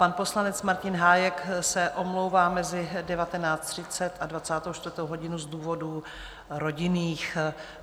Pan poslanec Martin Hájek se omlouvá mezi 19.30 a 24. hodinou z důvodů rodinných.